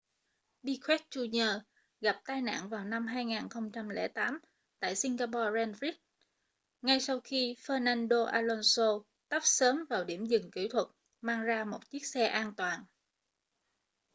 piquet jr gặp tai nạn vào năm 2008 tại singapore grand prix ngay sau khi fernando alonso tấp sớm vào điểm dừng kỹ thuật mang ra một chiếc xe an toàn